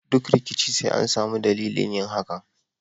Duk rikici sai an sami dadilin yin hakan